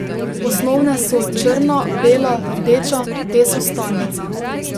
Osnovne so črna, bela, rdeča, te so stalnica.